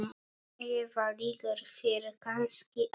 Eða liggur þér kannski á?